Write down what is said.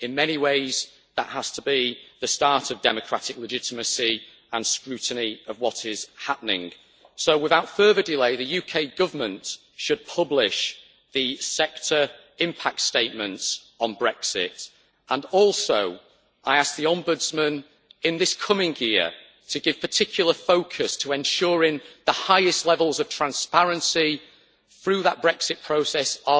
In many ways, that has to be the start of democratic legitimacy and scrutiny of what is happening. So, without further delay, the UK Government should publish the sector impact statements on Brexit. I also ask the Ombudsman in this coming year to give particular focus to ensuring that the highest levels of transparency are secured throughout the Brexit process in